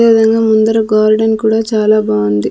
అదేవిధంగా ముందర గార్డెన్ కూడా చాలా బాంది .